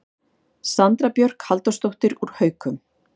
Sandra Björk Halldórsdóttir úr Haukum